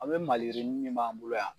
A' be maliyirini min b'an bolo yan